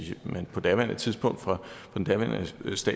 man på daværende tidspunkt fra den daværende statsminister